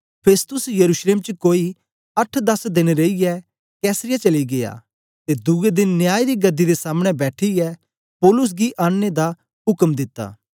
Festus यरूशलेम च कोई अट्ठ दस देन रेईयै कैसरिया चली गीया ते दुए देन न्याय दी गदी दे सामने बैठीयै पौलुस गी आनने दा उक्म दिता